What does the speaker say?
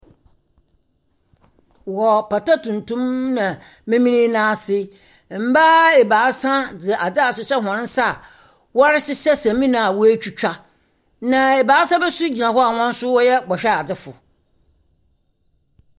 Wɔ pata tuntum na memen no ase, mmaa ebaasa dze adze ahyehyɛ wɔn nsa a wɔrehyehyɛ samina a wɔatwitwa. Na ebaasa bi nso gyina hɔ a wɔn so wɔyɛ bɔhweadzefo.